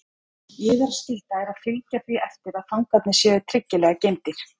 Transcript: Yðar skylda er að fylgja því eftir að fangarnir séu tryggilega geymdir.